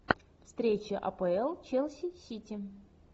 встреча апл челси сити